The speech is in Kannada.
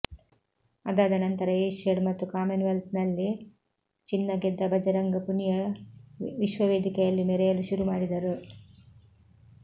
ಅದಾದ ನಂತರ ಏಷ್ಯಾಡ್ ಮತ್ತು ಕಾಮನ್ವೆಲ್ತ್ನಲ್ಲಿ ಚಿನ್ನ ಗೆದ್ದ ಭಜರಂಗ್ ಪುನಿಯ ವಿಶ್ವವೇದಿಕೆಯಲ್ಲಿ ಮೆರೆಯಲು ಶುರು ಮಾಡಿದರು